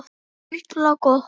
Harla gott.